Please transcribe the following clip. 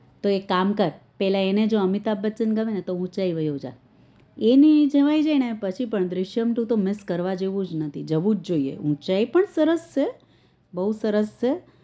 તો એક કામ કર પેલા એને જે અમિતાબ બચન ગમે તો તો ઊંચાઈ વયોજા એ ની એ જણાય જાય ને પછી આ દૃશ્યમ two તો miss કરવા જેવું જ નથી જાઉં જ જોઈએ ઉંચાઈ પણ સરસ છે બવ સરસ છે